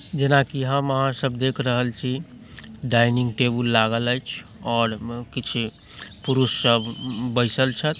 जैना की हम आहां सब देख रहल छी डाइनिंग टेबुल लागल ऐछ और किछ पुरुष सब बैसल छै।